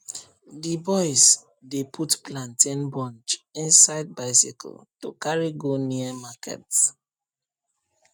d boys dey put plantain bunch inside bicycle to carry go near market